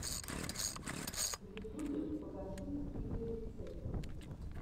в ютюбе покажи видеорецепты